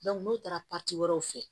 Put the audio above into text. n'o taara wɛrɛw fɛ